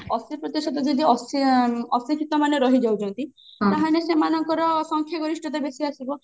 ଅଶିକ୍ଷିତ ଯଦି ଅଶି ଉଁ ଅଶିକ୍ଷିତ ମାନେ ରହିଯାଉଛନ୍ତି ତାହେଲେ ସେମାନଙ୍କର ସଂଖ୍ୟା ଗରିଷ୍ଠତା ବେଶୀ ଆସିବ